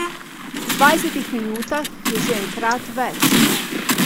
V dvajsetih minutah jih je že enkrat več.